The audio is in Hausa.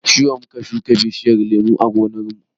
Jiya mun shuka bishiyar lemu a gonar mu